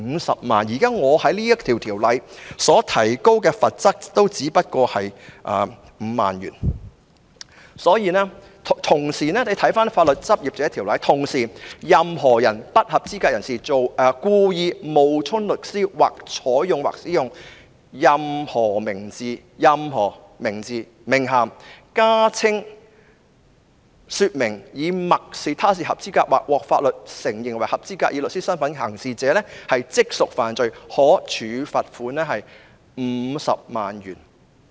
大家可以參看《法律執業者條例》，當中規定"任何不合資格人士故意冒充律師，或採用或使用任何名字、名銜、加稱或說明以默示他是合資格或獲法律承認為合資格以律師身分行事者，即屬犯罪......可處罰款 $500,000。